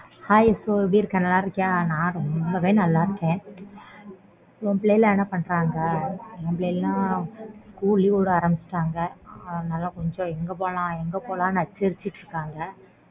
hi எப்பிடி இருக்க நல்லா இருக்கியா நான் ரொம்பவே நல்லா இருக்கன் உன் பிள்ளைங்க எல்லாம் என்ன பன்றாங்க என் பிள்ளைங்களுக்கு எல்லாம் school leave விட ஆரம்பிச்சிட்டாங்க அதனால கொஞ்சம் எங்க போலாம் எங்க போலாம்னு நச்சரிச்சிட்டு இருக்காங்க